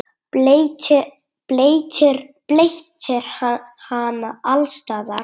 Bleytir hana alls staðar.